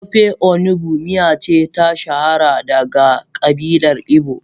Ofe onugbu miya ce ta shahara daga kabilar igbo.